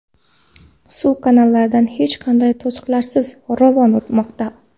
Suv kanallardan hech qanday to‘siqlarsiz ravon oqmoqda.